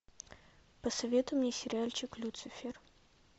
посоветуй мне сериальчик люцифер